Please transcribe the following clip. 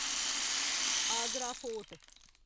Agra fort